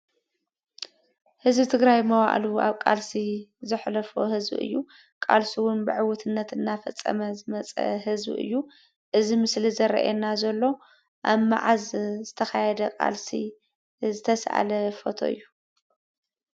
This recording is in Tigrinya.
ህዝቢ ትግራይ መዋእሉ አብ ቃልሲ ዘሕለፎ ህዝቢ እዩ። ቃልሱ ብዕውትነት እንዳፈፀመ ዝመፀ ህዝቢ እዩ። እዚ ምስሊ ዘርእየና ዘሎ አብ መዓዝ ዝተካየደ ቃልሲ ዝተሰአለ ፎቶ እዩ?